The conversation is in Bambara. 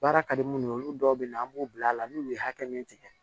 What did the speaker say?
Baara ka di munnu ye olu dɔw bɛ na an b'u bila la n'u ye hakɛ min tigɛ